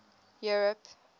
europe